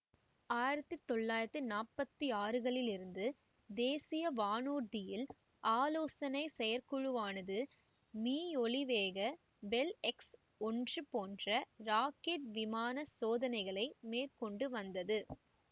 ஆயிரத்தி தொள்ளாயிரத்தி நாற்பத்தி ஆறுகளிலிருந்து தேசிய வானூர்தியியல் ஆலோசனை செயற்குழுவானது மீயொலிவேக பெல் எக்சு ஒன்று போன்ற இராக்கெட்விமான சோதனைகளை மேற்கொண்டுவந்தது